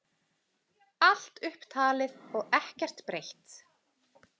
Allt upptalið og ekkert breytt.